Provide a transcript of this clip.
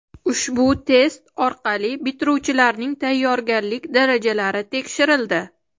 Ushbu test orqali bitiruvchilarning tayyorgarlik darajalari tekshirildi.